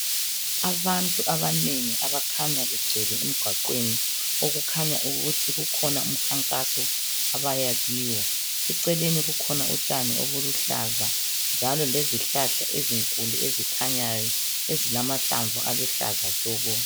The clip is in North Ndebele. Abantu abanengi abakhanya begcwele emgwaqweni okukhanya ukuthi kukhona umkhankaso abaya kiwo eceleni kukhona utshani obuluhlaza njalo lezihlahla ezilamahlamvu aluhlaza tshoko.